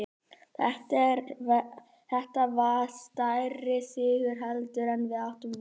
Þetta var stærri sigur heldur en við áttum von á.